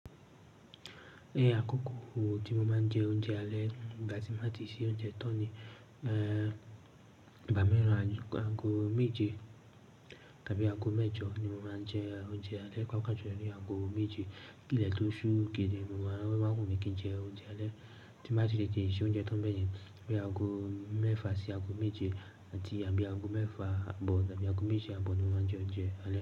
Ẹ àkókò tí mo máa ń jẹ oúnjẹ alẹ́ nígbà tí mo bá ti ṣe oúnjẹ tán ni, eh, ìgbà mìíràn aju, aago méje tàbí aago mẹ́jọ ni mo máa ń jẹ oúnjẹ alẹ́. Pápá jù lọ ni aago méje. Kilẹ̀ tó ṣúù gidi mo máa n, ọ́ máa n wùmí kí n jẹ oúnjẹ alẹ́ tí n bá ti tetè ṣe oúnjẹ tán bẹ́yẹn. Bíi aago mẹ́fà sí aago méje àti àbí aago mẹ́fà ààbọ̀ tàbí aago méje ààbọ̀ ni mo máa ń jẹ oúnjẹ alẹ́